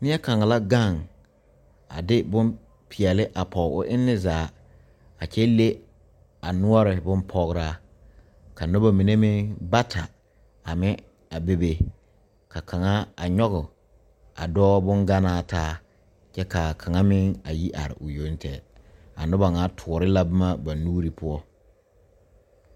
Neɛ kaŋa la gaŋ a de bonpeɛle a pɔge o eŋne zaa a kyɛ le a noɔre bonpɔgeraa ka noba mine meŋ bata a meŋ a bebe ka kaŋa a nyɔge a dɔɔ bonganaa taa kyɛ ka kaŋa meŋ a yi are o yoŋtɛgɛ a noba ŋa toore la boma ba nuuri poɔ.